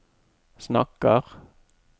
snakker